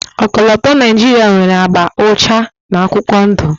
Ọkọlọtọ Naijiria nwere agba ụcha na akwụkwọ ndụ.